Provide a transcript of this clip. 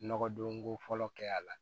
Nɔgɔdonko fɔlɔ kɛ a la